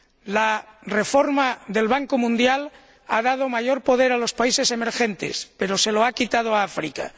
La reforma del Banco Mundial ha dado mayor poder a los países emergentes, pero se lo ha quitado a África.